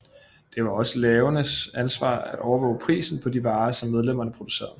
Det var også lavenes ansvar at overvåge prisen på de varer som medlemmerne producerede